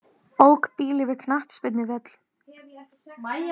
Ók bíl yfir knattspyrnuvöll